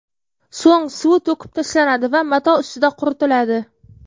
So‘ng suvi to‘kib tashlanadi va mato ustida quritiladi.